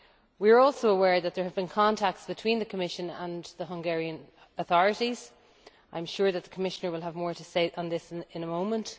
We are also aware that there have been contacts between the Commission and the Hungarian authorities. I am sure that the Commissioner will have more to say on this in a moment.